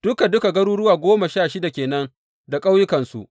Duka duka garuruwa goma sha shida ke nan da ƙauyukansu.